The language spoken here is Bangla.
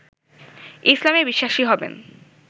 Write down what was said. ইসলামে বিশ্বাসী হবেন